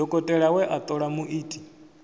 dokotela we a ṱola muiti